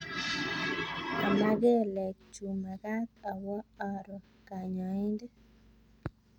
ama kelek chu makaat awo aroo kanyaindet